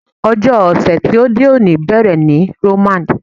Ọjọ́ ọ̀sẹ̀ ti òde òní bẹ̀rẹ̀ ní Roman.